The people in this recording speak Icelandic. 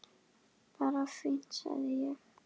Bara fínt sagði ég.